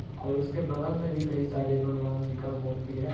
और उसके बगल मे भी कई सारे भगवान जी का मूर्ति है।